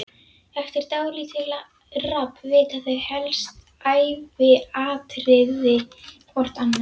Eftir dálítið rabb vita þau helstu æviatriði hvort annars.